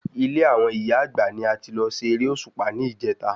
Ilé àwọn ìyá Àgbà ni a ti lọ ṣe eré Òṣùpá ní ìjèta